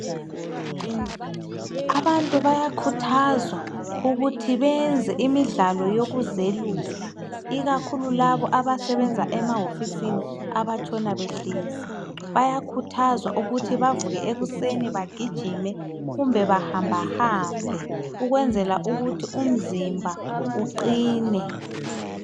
Abantu bayakhuthazwa ukuthi benze imidlalo yokuzelula ikakhulu labo abasebenza emahofisini abatshona behlezi, bayakhuthazwa ukuthi bavuke ekuseni bagijime kumbe bahamba hambe ukwenzela ukuthi umzimba uqine.